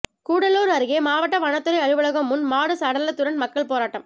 கூடலூர் அருகே மாவட்ட வனத்துறை அலுவலகம் முன் மாடு சடலத்துடன் மக்கள் போராட்டம்